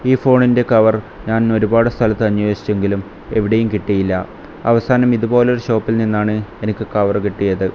ഈ ഫോണിന്റെ കവർ ഞാൻ ഒരുപാട് സ്ഥലത്ത് അന്വേഷിച്ചെങ്കിലും എവിടെയും കിട്ടിയില്ല അവസാനം ഇതുപോലൊരു ഷോപ്പിൽ നിന്നാണ് എനിക്ക് കവർ കിട്ടിയത്.